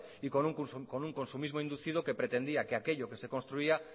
y con un consumismo inducido que pretendía que aquello que se construía